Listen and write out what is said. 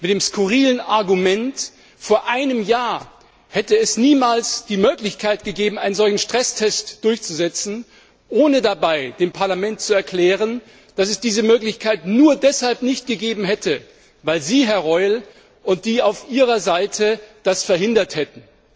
Mit dem skurrilen Argument, vor einem Jahr hätte es niemals die Möglichkeit gegeben, einen solchen Stresstest durchzusetzen, ohne dabei dem Parlament zu erklären, dass es diese Möglichkeit nur deshalb nicht gegeben hat, weil Sie, Herr Reul, und die auf Ihrer Seite Stehenden das verhindert haben.